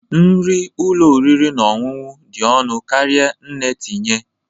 Nri ụlọ oriri na ọṅụṅụ dị ọnụ karịa nne tinye